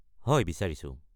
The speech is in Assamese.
হয়, বিচাৰিছো।